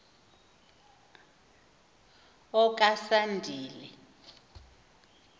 okasandile